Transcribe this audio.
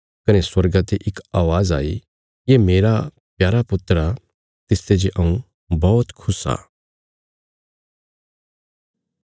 कने स्वर्गा ते इक अवाज़ आई ये मेरा प्यारा पुत्र आ तिसते जे हऊँ बौहत खुश आ